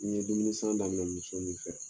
N ye dumuni san daminɛ muso min fɛ.